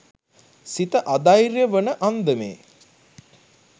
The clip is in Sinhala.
සිත අධෛර්ය වන අන්දමේ